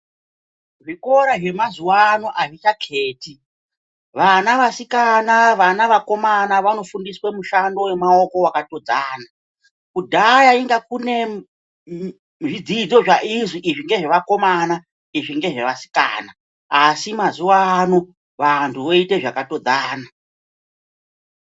Zvikora zvemazuwaano azvichaketi vana vasikana , vana vakomana vanofundiswa mushando wemaoko wakatodzana kudha inga kune zvidzidzo zvaizwi izvi ngezvevakomana izvi ngezvevasikana asi mazuwano vantu voite zvakatodzana.